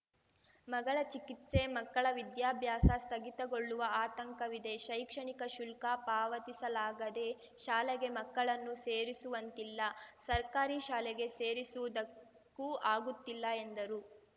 ಮಗಳ ಚಿಕಿತ್ಸೆ ಮಕ್ಕಳ ವಿದ್ಯಾಭ್ಯಾಸ ಸ್ಥಗಿತಗೊಳ್ಳುವ ಆತಂಕವಿದೆ ಶೈಕ್ಷಣಿಕ ಶುಲ್ಕ ಪಾವತಿಸಲಾಗದೇ ಶಾಲೆಗೆ ಮಕ್ಕಳನ್ನು ಸೇರಿಸುವಂತಿಲ್ಲ ಸರ್ಕಾರಿ ಶಾಲೆಗೆ ಸೇರಿಸುವುದಕ್ಕೂ ಆಗುತ್ತಿಲ್ಲ ಎಂದರು